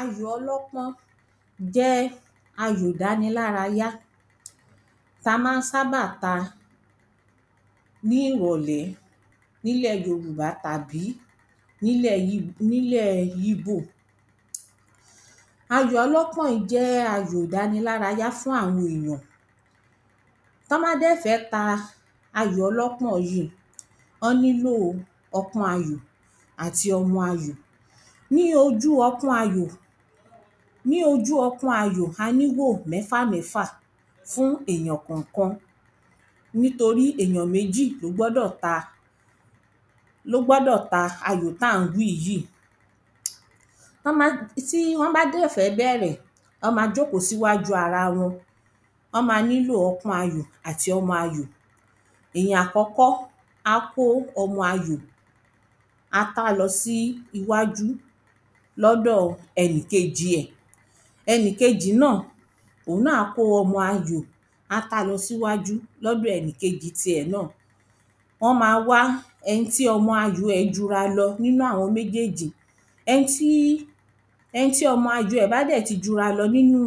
Ayò ọlọ́pọ́n jẹ́ ayò ìdanilárayá t’a má ń sábà ta ní ìrọ̀lẹ̀ n'ílẹ̀ yòrùbá tàbí n'ílẹ̀ yíbò. Ayò ọlọ́pọ́n jẹ́ ayò ìdanilárayá fún àwọn èyàn T'ọ́ bá dẹ̀ fẹ́ ta ayò ọlọ́pọ́n yí í, ọ́ nílò ọpọ́n ayò àti ọmọ ayò Ní ojú ọpọ́n ayò, a n'íhò mẹ́fà mẹ́fà fún èyàn kọ̀nkan nítorí èyàn méjì ló gbọ́dọ̀ ta ló gbọ́dọ̀ ta ayò t’á ǹ wí yí Tí wọ́n bá dẹ̀ fẹ́ bẹrẹ̀, ọ́ ma jókó s'íwájú ara wọn. Ọ́ ma nílò ọpọ́n ayò àti ọmọ ayò Èyàn àkọ́kọ́ á kó ọmọ ayò. Á tá lọ sí iwájú l’ódò ẹni kejì ẹ̀. Ẹni kejì náà òun náà á kó ọmọ ayò tá lọ s'íwájú l’ódò ẹni kejì ti ẹ̀ náà. Ọ́ ma wá ẹni tí ọmọ ayò ẹ̀ jura lọ n'ínú àwọn méjèjì. Ẹni tí ọmọ ayò ẹ̀ bá dẹ̀ ti jura lọ n'ínú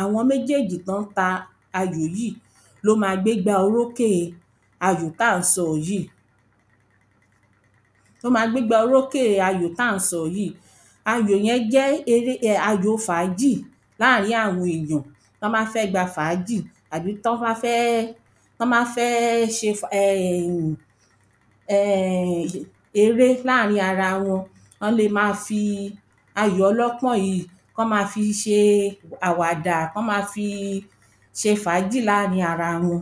àwọn méjèjì t’ọ́n ta ayò yíì. ló ma gbégbá orókè e ayò t’á ń sọ yìí ló ma gbégbá orókè e ayò t’á ń sọ yìí Ayò yẹ́n jẹ́ ayò fàájì láàrín àwọn èyàn t'ọ́n bá fẹ́ gba fàájì àbí t'ọ́n bá fẹ́ ṣe eré láàrín ara wọn ọ́ ń le ma fi ayò ọlọ́pọ́n yìí k’ọ́ ma fi ṣe àwàdà k’ọ́ ma fi ṣe fàájì láàrín àwọn ara wọn